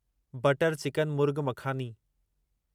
butter chicken murgh makhani